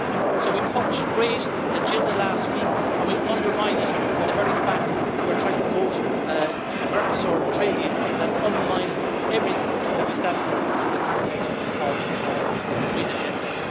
So we publish a great agenda last week and we undermine it by the very fact that we're trying to promote a Mercosur trade deal that undermines everything that we stand for in the context of the green agenda.